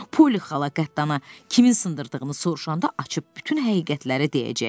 Poli xala qəndana kimin sındırdığını soruşanda açıb bütün həqiqətləri deyəcəkdi.